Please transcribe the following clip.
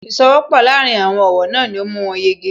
Ìsowọ́pọ̀ láàárín àwọn ọ̀wọ́ náà ni ó mú wọn yege